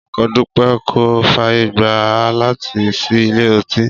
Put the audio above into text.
Ọkọ Dúpẹ́ kò fàyè gbà á láti ṣí ilé ọtí